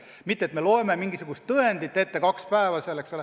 Mitte et me loeme mingisugust tõendit kaks päeva ette.